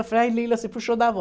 Eu falei, ai Lila, você puxou da vó.